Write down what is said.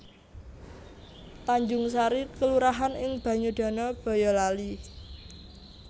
Tanjungsari kelurahan ing Banyudana Bayalali